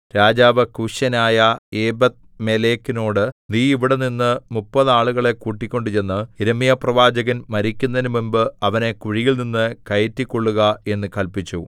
രാജാവ് കൂശ്യനായ ഏബെദ്മേലെക്കിനോട് നീ ഇവിടെനിന്ന് മുപ്പത് ആളുകളെ കൂട്ടിക്കൊണ്ടുചെന്ന് യിരെമ്യാപ്രവാചകൻ മരിക്കുന്നതിനുമുമ്പ് അവനെ കുഴിയിൽനിന്നു കയറ്റിക്കൊള്ളുക എന്ന് കല്പിച്ചു